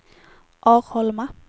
Arholma